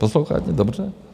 Posloucháte dobře?